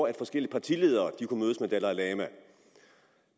at forskellige partiledere kunne mødes med dalai lama